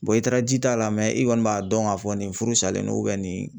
i taara ji t'a la i kɔni b'a dɔn k'a fɔ nin furu salen don nin